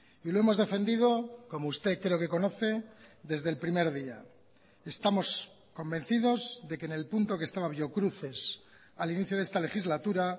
y lo hemos defendido como usted creo que conoce desde el primer día estamos convencidos de que en el punto que estaba biocruces al inicio de esta legislatura